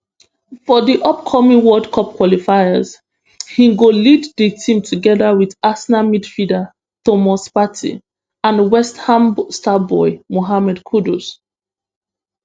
for di upcoming world cup qualifiers im go lead di team togeda wit arsenal midfielder thomas partey and westham star boy mohammed kudus